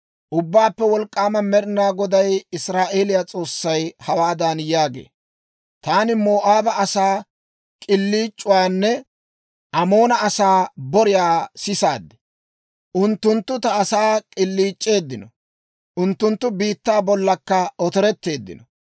Ubbaappe Wolk'k'aama Med'inaa Goday, Israa'eeliyaa S'oossay, hawaadan yaagee; «Taani Moo'aaba asaa k'iliic'uwaanne Amoona asaa boriyaa sisaad. Unttunttu ta asaa k'illiic'c'eeddino; unttunttu biittaa bollankka otoretteeddino.